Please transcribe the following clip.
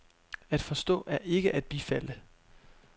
At forstå er ikke at bifalde.